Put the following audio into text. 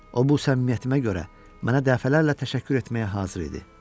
O bu səmimiyyətimə görə mənə dəfələrlə təşəkkür etməyə hazır idi.